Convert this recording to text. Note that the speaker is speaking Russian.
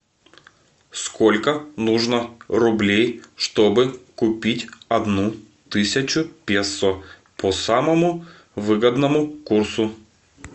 сколько нужно рублей чтобы купить одну тысячу песо по самому выгодному курсу